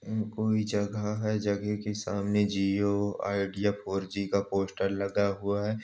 उम्म कोई जगह है। जगह के सामने जिओ आईडिया फोर जी का पोस्टर लगा हुआ --